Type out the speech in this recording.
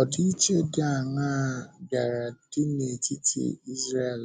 Ọdịiche dị áńaa bịara dị n’etiti Ísréel